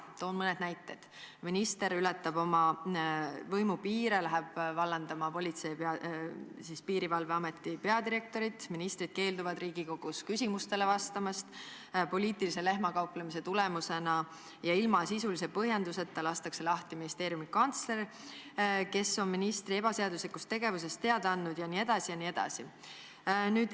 Toon mõned näited: minister ületab oma võimupiire, läheb vallandama Politsei- ja Piirivalveameti peadirektorit; ministrid keelduvad Riigikogus küsimustele vastamast; poliitilise lehmakauplemise tagajärjel ja ilma sisulise põhjenduseta lastakse lahti ministeeriumi kantsler, kes on ministri ebaseaduslikust tegevusest teada andnud, jne.